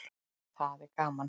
Það er gaman.